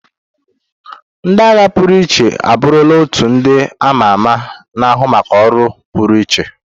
Ndị agha pụrụ iche abụrụla otu ndị ama ama na-ahụ maka ọrụ pụrụiche.